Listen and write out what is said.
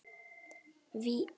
Vífill getur átt við